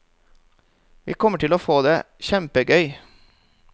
Vi kommer til å få det kjempegøy.